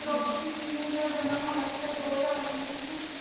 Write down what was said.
ਦ੍ਰੋਪਦੀ ਜੀ ਦਾ ਜਨਮ ਹੋਇਆ ਸੀਗਾ ਦੋ ਹਜ਼ਾਰ ਵੀਹ ਚ